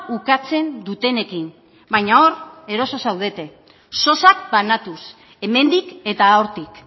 ukatzen dutenekin baina hor eroso zaudete sosak banatuz hemendik eta hortik